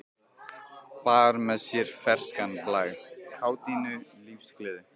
Bar með sér ferskan blæ, kátínu, lífsgleði.